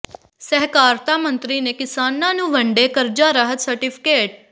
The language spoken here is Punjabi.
ਸਹਿਕਾਰਤਾ ਮੰਤਰੀ ਨੇ ਕਿਸਾਨਾਂ ਨੂੰ ਵੰਡੇ ਕਰਜਾ ਰਾਹਤ ਸਰਟੀਫਿਕੇਟ